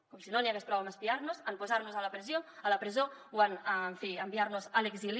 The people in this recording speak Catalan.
com si no n’hi hagués prou amb espiar nos amb posar nos a la presó o amb en fi enviar nos a l’exili